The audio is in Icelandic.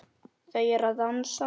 Þau eru að dansa